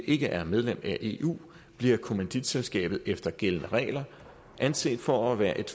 ikke er medlem af eu bliver kommanditselskabet efter gældende regler anset for at være et